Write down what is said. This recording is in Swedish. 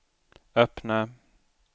öppna